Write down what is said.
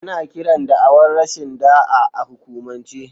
Ana kiran da'awar rashin da'a a hukumance.